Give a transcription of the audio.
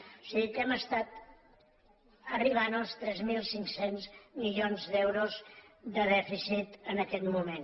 o sigui que hem estat arribant als tres mil cinc cents milions d’eu·ros de dèficit en aquest moment